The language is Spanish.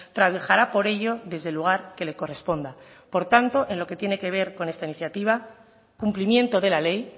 trabajará por ello desde el lugar que le corresponda por tanto en lo que tiene que ver con esta iniciativa cumplimiento de la ley